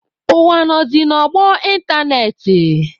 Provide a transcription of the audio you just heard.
Ụwa nọzị n'ọgbọ ịntanetị.